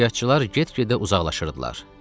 Kəşfiyyatçılar get-gedə uzaqlaşırdılar.